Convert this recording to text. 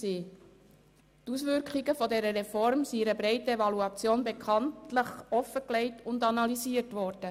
Die Auswirkungen der Reform sind in einer breiten Evaluation offengelegt und analysiert worden.